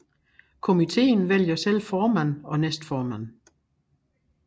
Komiteen vælger selv formand og næstformand